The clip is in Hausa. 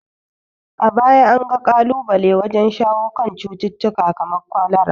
A baya an ga kalubale wajen shawo kan cututtuka kamar kwalara.